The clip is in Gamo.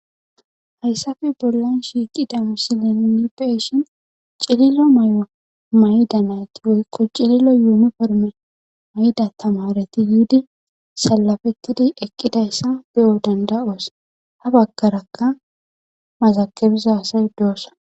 Hayssafe bollan shiiqidamusileinni peshin cililo may'o mayda nayti woy quccililo yumiformer mayda tamareti yiidi salafettidi ekqidayssa beyo danda'os ha baggarakka mazakebiza asay doossa.